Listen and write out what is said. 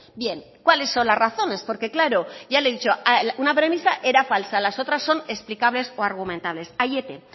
bien cuáles son las razones porque claro ya le he dicho una premisa era falsa las otras son explicables o argumentables aiete